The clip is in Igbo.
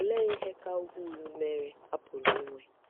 Olee ihe ka ukwuu mere a pụrụ inwe?